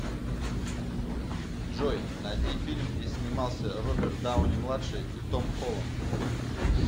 джой найди фильм где снимался роберт дауни младший и том холланд